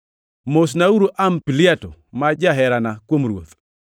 Mosnauru Ampliato ma jaherana kuom Ruoth.